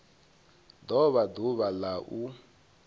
do vha ḓuvha la u